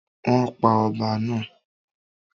Wọ́n pa ọba náà?